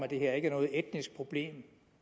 at det her ikke er noget etnisk problem